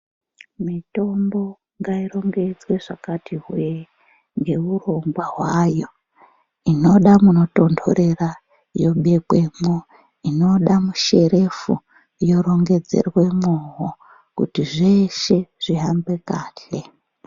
Mitombo ngairongedzwe zvakati hwee ngeurongwa hwayo inoda munotondorera yobekwemwo, inoda musherefu yorongedzeremwowo kuti zveshe zvihambe kahle.